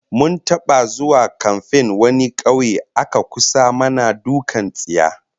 Mun taba zuwa kamfen wani kauye aka kusa mana dukkan tsiya